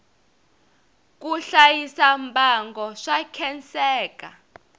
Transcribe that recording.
ku hlayisa mbango swa khenseka